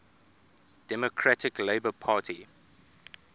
democratic labour party